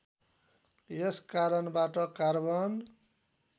यस कारणबाट कार्बन